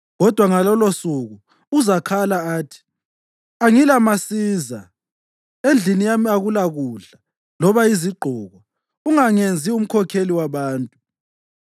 Kodwa ngalolosuku uzakhala athi, “Angilamasiza. Endlini yami akulakudla loba izigqoko; ungangenzi umkhokheli wabantu.”